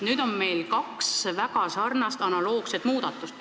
Nüüd on meil kaks väga sarnast, analoogset muudatust.